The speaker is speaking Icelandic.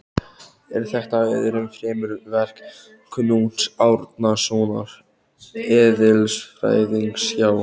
Er þetta öðru fremur verk Knúts Árnasonar eðlisfræðings hjá